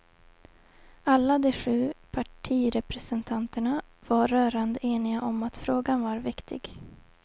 Alla de sju partirepresentanterna var rörande eniga om att frågan var viktig.